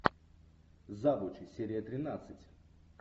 завучи серия тринадцать